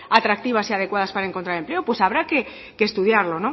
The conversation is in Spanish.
atractivas y adecuadas para encontrar empleo pues habrá que estudiarlo